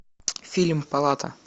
фильм палата